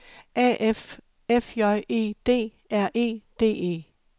A F F J E D R E D E